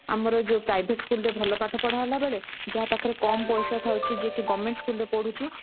ଆମର ଯୋଉ private school ରେ ଭଲ ପାଠ ପଢା ହେଲା ବେଳେ ଯାହା ପାଖରେ କମ ପଇସା ଥାଉଛି କି ଯିଏ କି government school ରେ ପଢୁଛି